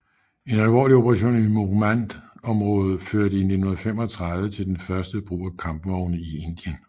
En alvorlig operation i Mohmand området førte i 1935 til den første brug af kampvogne i Indien